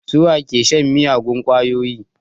Su wa ke shan miyagun ƙwayoyi?